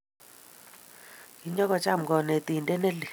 Kinyo kocham kanetindet ne leel